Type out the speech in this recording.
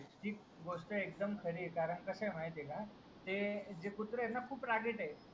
ही गोष्ट एकदम खरी आहे करांकि कस आहे माहिती आहे का ते कुत्रे आहे ना खूप रागीट आहे